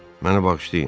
Mənə bağışlayın.